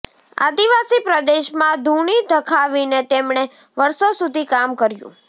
આદિવાસી પ્રદેશમાં ધૂણી ધખાવીને તેમણે વર્ષો સુધી કામ કર્યું